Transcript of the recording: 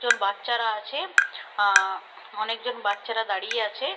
জন বাচ্চারা আছে আঁ অনেকজন বাচ্চারা দাঁড়িয়ে আছে --